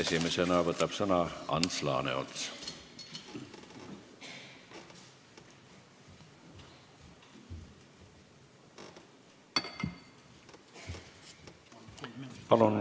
Esimesena võtab sõna Ants Laaneots.